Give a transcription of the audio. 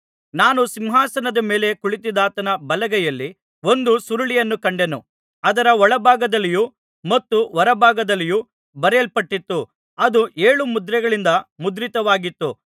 ನಾನು ಸಿಂಹಾಸನದ ಮೇಲೆ ಕುಳಿತಿದ್ದಾತನ ಬಲಗೈಯಲ್ಲಿ ಒಂದು ಸುರುಳಿಯನ್ನು ಕಂಡೆನು ಅದರ ಒಳಭಾಗದಲ್ಲಿಯೂ ಮತ್ತು ಹೊರಭಾಗದಲ್ಲಿಯೂ ಬರೆಯಲ್ಪಟ್ಟಿತ್ತು ಅದು ಏಳು ಮುದ್ರೆಗಳಿಂದ ಮುದ್ರಿತವಾಗಿತ್ತು